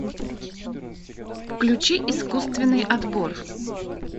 включи искусственный отбор